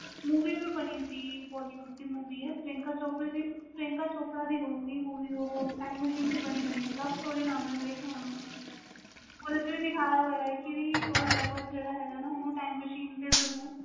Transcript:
movie ਵੀ ਬਣੀ ਸੀ bollywood movies ਪ੍ਰਿਯੰਕਾ ਚੋਪੜਾ ਦੀ ਹੋਵੇ ਗਈ movie time machine ਤੇ ਬਣੀ ਵ love story ਨਾਮ ਵ ਸ਼ਾਹਿਦ ਓਹਦੇ ਵਿਚ ਦਿਖਾਇਆ ਹੋਇਆ ਵ ਓਹਦਾ ਜਿਹੜਾ lover ਓਹਨੂੰ time machine